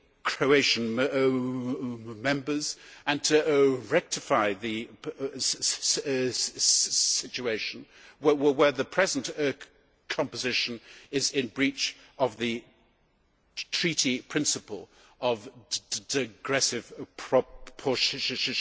Croatian Members and to rectify the situation where the present composition is in breach of the Treaty principle of digressive proportionality.